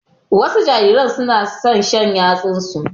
Wasu jarirai su na son shan yatsunsu.